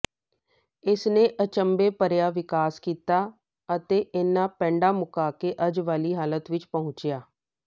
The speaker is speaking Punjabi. ਇਸਨੇ ਅਚੰਭੇ ਭਰਿਆ ਵਿਕਾਸ ਕੀਤਾ ਅਤੇ ਇੰਨਾਂ ਪੈਂਡਾ ਮੁਕਾ ਕੇ ਅੱਜ ਵਾਲ਼ੀ ਹਾਲਤ ਵਿੱਚ ਪਹੁੰਚਿਆ